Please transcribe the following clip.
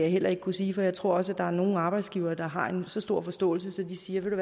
heller ikke kunne sige for jeg tror også at der er nogle arbejdsgivere der har en så stor forståelse at de siger ved